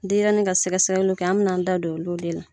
Denyɛrɛnin ka sɛgɛsɛgɛliw kɛ an bɛna an da don olu de la